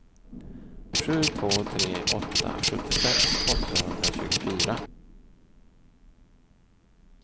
sju två tre åtta sjuttiosex åttahundratjugofyra